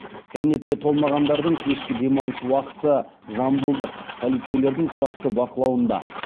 кәмелетке толмағандардың кешкі демалыс уақыты жамбылдық полицейлердің тұрақты бақылауында